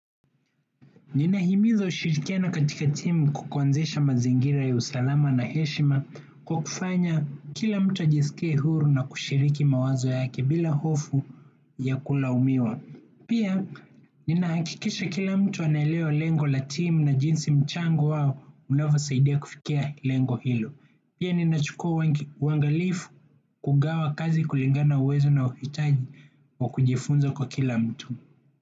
Ninahimiza ushirikiano katika timu kwa kuanzisha mazingira ya usalama na heshima kwa kufanya kila mtu ajisikie huru na kushiriki mawazo yake bila hofu ya kulaumiwa. Pia, ninahakikisha kila mtu anaelewa lengo la timu na jinsi mchango wao unavyosaidia kufikia lengo hilo. Pia, ninachukua uangalifu kugawa kazi kulingana na uwezo na uhitaji wa kujifunza kwa kila mtu.